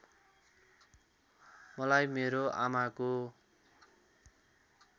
मलाई मेरो आमाको